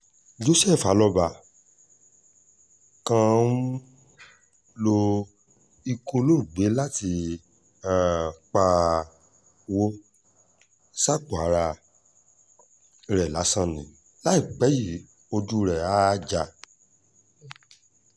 joseph alọ́ba kan ń um lo ikú olóògbé láti um pawọ́ sápò ara rẹ̀ lásán ni láìpẹ́ yìí ojú rẹ̀ áá já